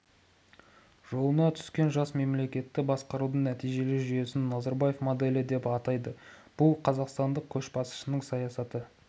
жолына түскен жас мемлекетті басқарудың нәтижелі жүйесін назарбаев моделі деп атайды бұл қазақстандық көшбасшының саясатын